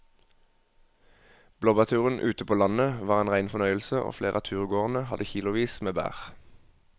Blåbærturen ute på landet var en rein fornøyelse og flere av turgåerene hadde kilosvis med bær.